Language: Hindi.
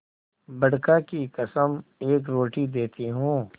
बड़का की कसम एक रोटी देती हूँ